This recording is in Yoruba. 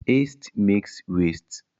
Hastes makes wastes.